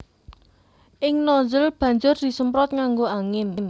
Ing nozzle banjur disemprot nganggo angin